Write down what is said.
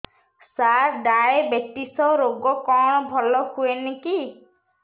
ସାର diabetes ରୋଗ କଣ ଭଲ ହୁଏନି କି